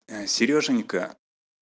сереженька